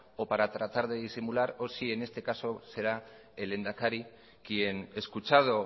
o para tratar de disimular o si en este caso será el lehendakari quien escuchado